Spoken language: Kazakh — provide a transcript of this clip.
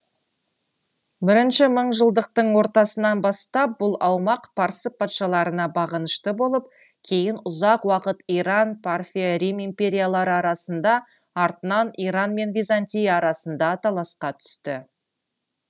бірінші мыңжылдықтың ортасынан бастап бұл аумақ парсы патшаларына бағынышты болып кейін ұзақ уақыт иран парфия рим империялары арасында артынан иран мен византия арасында таласқа түсті